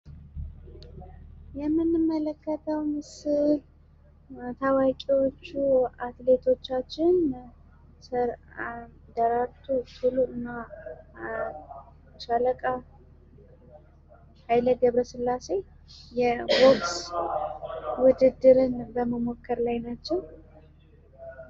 የምንመለከተው ምስል ታዋቂዎቹ አትሌቶቻችን ደራርቱ ቱሉና ሻለቃ ኃይሌ ገብረስላሴ ቦክስ ውድድን በመሞከር ላይ ናቸው።